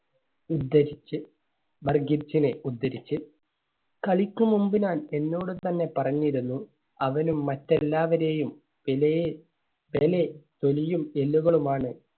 ഉദ്ധരിച്ച് ഉദ്ധരിച്ച് കളിക്കും മുൻപ് ഞാൻ എന്നോട് തന്നെ പറഞ്ഞിരുന്നു അവനും മറ്റെല്ലാവരെയും പെലെയെ